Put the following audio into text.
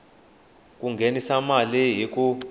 ku nghenisa mali hi ku